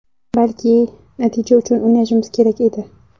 Balki, natija uchun o‘ynashimiz kerak edi.